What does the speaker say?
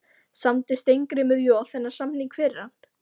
Samdi Steingrímur Joð þennan samning fyrir hann?